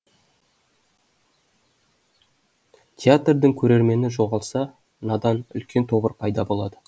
театрдың көрермені жоғалса надан үлкен тобыр пайда болады